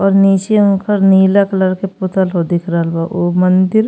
और नीचे ऊंकर नीला कलर क पुतल ह दिख रहल बा। उह मंदिर --